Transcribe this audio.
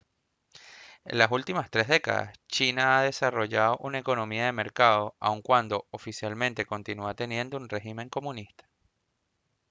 en las últimas tres décadas china ha desarrollado una economía de mercado aun cuando oficialmente continúa teniendo un régimen comunista